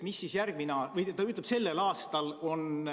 Mis siis sellel aastal saab?